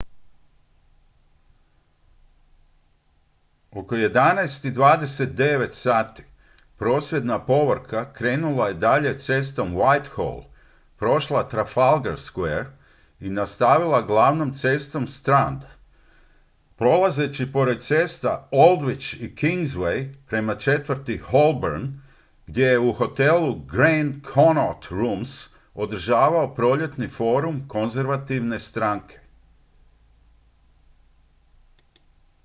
oko 11:29 h prosvjedna povorka krenula je dalje cestom whitehall prošla trafalgar square i nastavila glavnom cestom strand prolazeći pored cesta aldwych i kingsway prema četvrti holborn gdje se u hotelu grand connaught rooms održavao proljetni forum konzervativne stranke